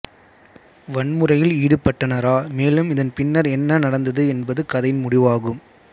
வன்முறையில் ஈடுபட்டனரா மேலும் இதன் பின்னர் என்ன நடந்தது என்பது கதையின் முடிவாகும்